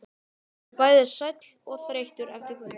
Hann er bæði sæll og þreyttur eftir kvöldið.